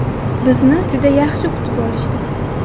Bizni juda yaxshi kutib olishdi.